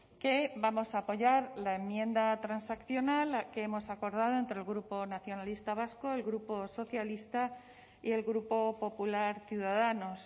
que vamos a apoyar la enmienda transaccional que hemos acordado entre el grupo nacionalista vasco el grupo socialista y el grupo popular ciudadanos